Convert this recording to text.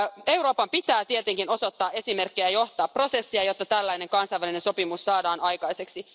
Euroopan pitää tietenkin näyttää esimerkkiä ja johtaa prosessia, jotta tällainen kansainvälinen sopimus saadaan aikaiseksi.